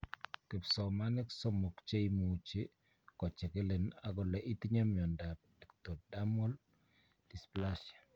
Kipsomanik somok che imuche kochigilin agole itinye miondap ectodermal dysplasia.